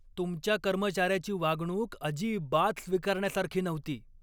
तुमच्या कर्मचाऱ्याची वागणूक अजिबात स्वीकारण्यासारखी नव्हती.